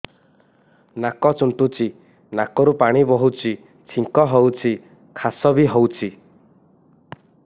ନାକ ଚୁଣ୍ଟୁଚି ନାକରୁ ପାଣି ବହୁଛି ଛିଙ୍କ ହଉଚି ଖାସ ବି ହଉଚି